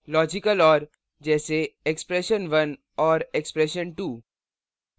logical or जैसे expression1 or expression2